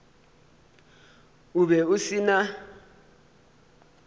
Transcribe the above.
o be o se na